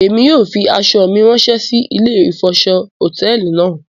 Émi yóò fi aṣọ mi rànṣẹ si ìlé ifọṣọ hotẹẹli náa